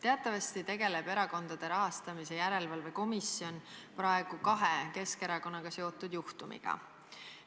Teatavasti tegeleb Erakondade Rahastamise Järelevalve Komisjon praegu kahe Keskerakonnaga seotud juhtumiga.